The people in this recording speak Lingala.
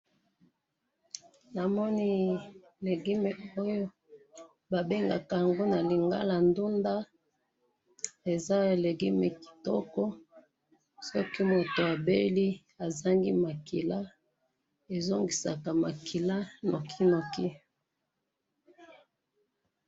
Namoni legume oyo, babengaka yango nalingala ndunda, eza legume kitoko, soki mutu abeli ezangi makila, ezongisaka makila nokinoki.